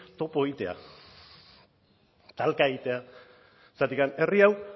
topo egitea talka egitea zergatik herri hau